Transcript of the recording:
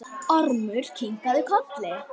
Ormur kinkaði kolli.